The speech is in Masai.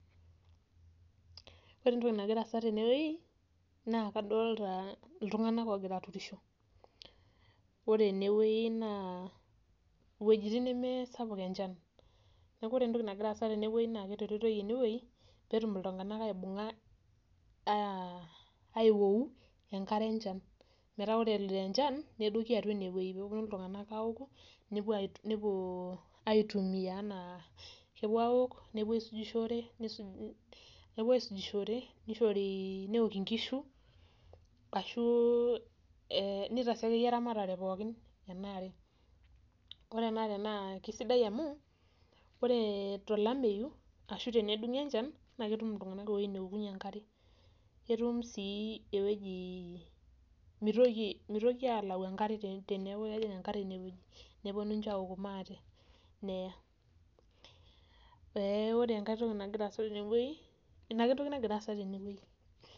Ore entoki nagira aasa tenewei, naa kadolta iltung'anak ogira aturisho. Ore enewei naa iwuejiting nemesapuk enchan. Neeku ore entoki nagira aasa tenewei naa keturitoi enewei, petum iltung'anak aibung'a aiwou enkare enchan. Metaa ore eloito enchan, nedoki atua enewei peponu iltung'anak aoku, nepuo aitumia enaa kepuo aok, nepuo aisujishore, nepuo aisujishore, nishori neok inkishu, ashu nitaasi akeyie eramatare pookin enaare. Ore enaare naa kisaidia amu, ore tolameyu, ashu tenedung'o enchan, na ketum iltung'anak ewoi neokunye enkare. Ketum si eweji mitoki alau enkare teneeku kejing' enkare inewueji. Neponu inche aoku maate. Neya. Ore enkae toki nagira aasa tenewei, inake entoki nagira aasa tenewei.